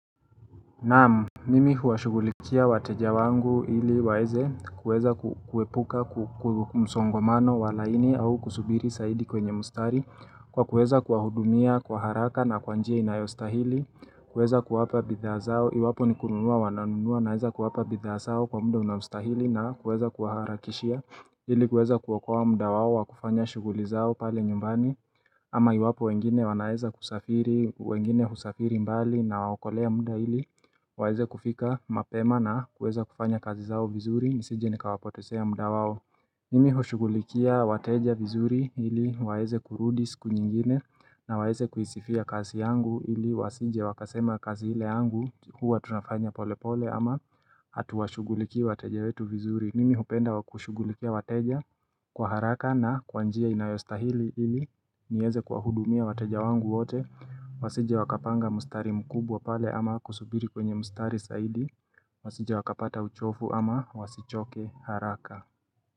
Naamu, mimi huashugulikia wateja wangu ili waeze kuweza kuepuka kumsongomano wa laini au kusubiri saidi kwenye mustari Kwa kuweza kuahudumia kwa haraka na kwa njia inayostahili. Kuweza kuwapa bidhaa zao, iwapo ni kununua wananunua naeza kuwapa bidhaa zao kwa muda unaostahili na kuweza kuaharakishia ili kuweza kuokowa mda wao wa kufanya shuguli zao pale nyumbani ama iwapo wengine wanaeza kusafiri, wengine husafiri mbali inawaokolea muda ili waeze kufika mapema na kueza kufanya kazi zao vizuri, nisije nikawapotezea muda wao. Mimi hushugulikia wateja vizuri ili, waeze kurudi siku nyingine. Na waeze kuisifia kazi yangu ili, wasije wakasema kazi ile yangu hua tunafanya pole pole ama hatuwashugulikia wateja wetu vizuri. Mimi hupenda wakushugulikia wateja kwa haraka na kwa njia inayostahili ili nieze kuwahudumia wateja wangu wote. Wasije wakapanga mustari mkubwa pale ama kusubiri kwenye mustari zaidi Wasije wakapata uchofu ama wasichoke haraka.